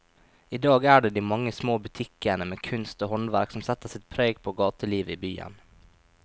I dag er det de mange små butikkene med kunst og håndverk som setter sitt preg på gatelivet i byen.